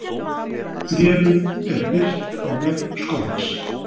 Bréfið er birt á vef skólans